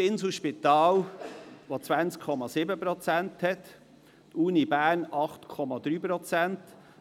Das Inselspital hat 20,7 Prozent, die Universität Bern 8,3 Prozent, die Berner